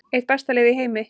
Eitt besta lið heims